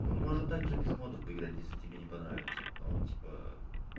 ну можно также без модов поиграть если тебе не понравится но типа